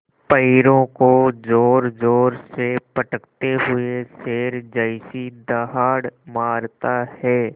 पैरों को ज़ोरज़ोर से पटकते हुए शेर जैसी दहाड़ मारता है